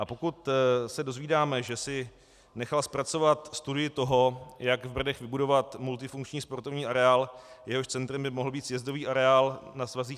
A pokud se dozvídáme, že si nechal zpracovat studii toho, jak v Brdech vybudovat multifunkční sportovní areál, jehož centrem by mohl být sjezdový areál na svazích